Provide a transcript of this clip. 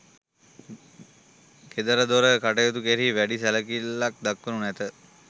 ගෙදරදොර කටයුතු කෙරෙහි වැඩි සැලකිල්ලක් දක්වනු ඇත.